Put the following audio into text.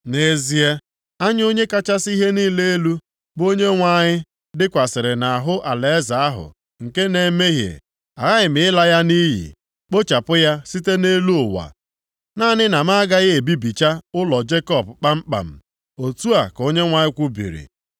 “Nʼezie, anya Onye kachasị ihe niile elu, bụ Onyenwe anyị dịkwasịrị nʼahụ alaeze ahụ nke na-emehie. Aghaghị m ịla ya nʼiyi, kpochapụ ya site nʼelu ụwa, naanị na m agaghị ebibicha ụlọ Jekọb kpamkpam.” Otu a ka Onyenwe anyị kwubiri.